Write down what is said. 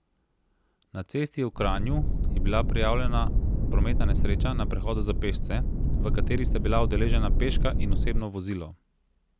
Na cesti v Kranju je bila prijavljena prometna nesreča na prehodu za pešce, v kateri sta bila udeležena peška in osebno vozilo.